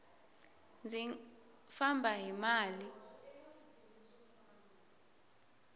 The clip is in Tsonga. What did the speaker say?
ndzi famba hi mali